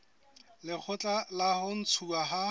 lekgotla la ho ntshuwa ha